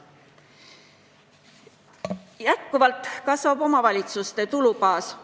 Jätkuvalt kasvab omavalitsuste tulubaas.